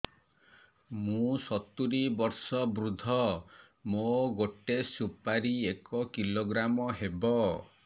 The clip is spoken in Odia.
ମୁଁ ସତୂରୀ ବର୍ଷ ବୃଦ୍ଧ ମୋ ଗୋଟେ ସୁପାରି ଏକ କିଲୋଗ୍ରାମ ହେବ